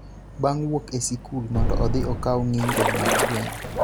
bang� wuok e sikul mondo odhi okaw ng�injo mag gweno.